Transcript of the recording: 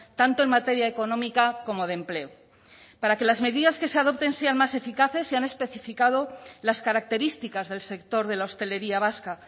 tanto en materia económica como de empleo para que las medidas que se adopten sean más eficaces se han especificado las características del sector de la hostelería vasca